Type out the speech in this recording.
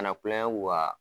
Kana kulonkɛ u ka